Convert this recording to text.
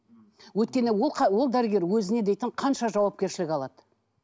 өйткені ол ол дәрігер өзіне дейтін қанша жауапкершілік алады